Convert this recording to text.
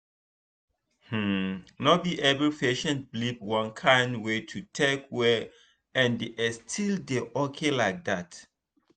hmm no be every patient believe one kind way to take well and e still dey okay like that.